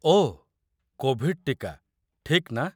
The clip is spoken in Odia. ଓଃ, କୋଭିଡ୍ ଟୀକା, ଠିକ୍ ନା?